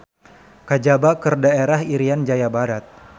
Kajaba keur daerah Irian Jaya Barat.